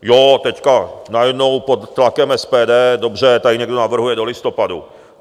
Jo, teď najednou pod tlakem SPD, dobře, tady někdo navrhuje do listopadu.